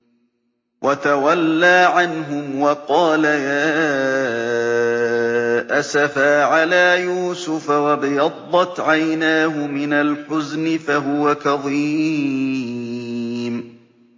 وَتَوَلَّىٰ عَنْهُمْ وَقَالَ يَا أَسَفَىٰ عَلَىٰ يُوسُفَ وَابْيَضَّتْ عَيْنَاهُ مِنَ الْحُزْنِ فَهُوَ كَظِيمٌ